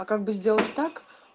а как бы сделать так